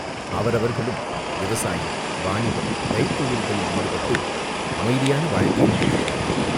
அவரவர்களும் விவசாயம், வாணிபம், கைத்தொழில்களில் ஈடுபட்டு அமைதியான வாழ்க்கை நடத்துகிறார்கள்.